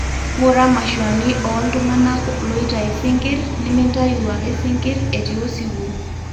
ngura mashuani oltungana loitayu sikirr, nimintayu ake sinkir etii osiwuo